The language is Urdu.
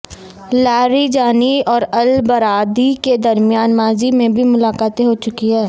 لاریجانی اور البرادعی کے درمیان ماضی میں بھی ملاقاتیں ہو چکی ہیں